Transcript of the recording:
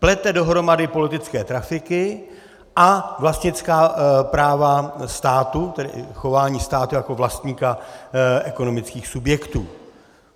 Plete dohromady politické trafiky a vlastnická práva státu, tedy chování státu jako vlastníka ekonomických subjektů.